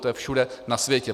To je všude na světě.